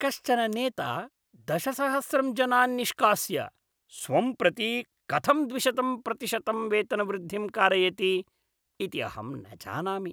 कश्चन नेता दशसहस्रं जनान् निष्कास्य, स्वं प्रति कथं द्विशतं प्रतिशतं वेतनवृद्धिं कारयति इति अहं न जानामि।